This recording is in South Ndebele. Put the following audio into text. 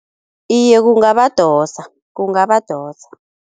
Iye kungabadosa, kungabadosa.